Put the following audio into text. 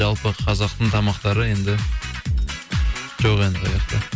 жалпы қазақтың тамақтары енді жоқ енді ояқта